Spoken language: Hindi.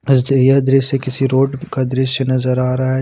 यह दृश्य किसी रोड का दृश्य नजर आ रहा है।